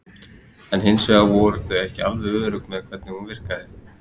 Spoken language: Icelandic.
En hins vegar voru þau ekki alveg örugg með hvernig hún virkaði.